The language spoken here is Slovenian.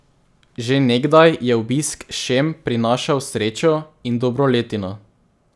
Že nekdaj je obisk šem prinašal srečo in dobro letino.